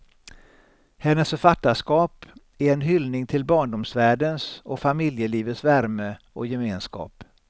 Hennes författarskap är en hyllning till barndomsvärldens och familjelivets värme och gemenskap.